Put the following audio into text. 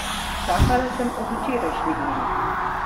Čakala sem ob včerajšnji uri.